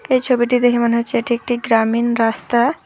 এই ছবিটি দেখে মনে হচ্ছে এটি একটি গ্রামীণ রাস্তা।